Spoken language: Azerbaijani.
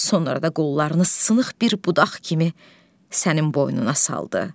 Sonra da qollarını sınıq bir budaq kimi sənin boynuna saldı.